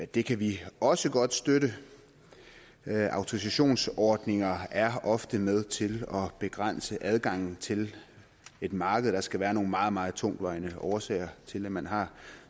det kan vi også godt støtte autorisationsordninger er ofte med til at begrænse adgangen til et marked så der skal være nogle meget meget tungtvejende årsager til at man har